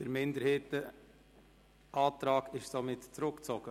Der Minderheitenantrag ist somit zurückgezogen.